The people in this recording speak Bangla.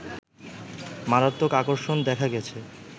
মারাত্মক আকর্ষণ দেখা গেছে